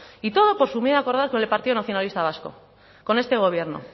y todo por su miedo a acordar con el partido nacionalista vasco con este gobierno